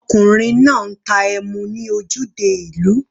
Ọkùnrin náà ń ta emu ní ojúde ìlú.